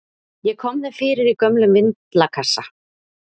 Ég kom þeim fyrir í gömlum vindlakassa.